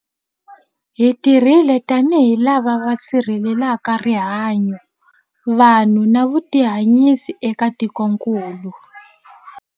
Hi tirhile tanihi lava va sirhelelaka rihanyu, vanhu na vutihanyisi eka tikokulu.